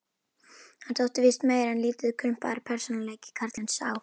Hann þótti víst meir en lítið krumpaður persónuleiki, karlinn sá.